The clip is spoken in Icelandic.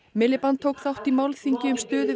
Miliband tók þátt á málþingi um stöðu